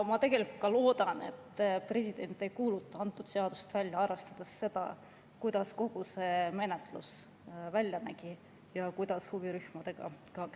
Ma loodan, et president ei kuuluta antud seadust välja, arvestades seda, kuidas kogu see menetlus välja nägi ja kuidas huvirühmadega käituti.